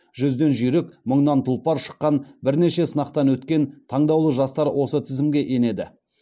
жүзден жүйрік мыңнан тұлпар шыққан бірнеше сынақтан өткен таңдаулы жастар осы тізімге енеді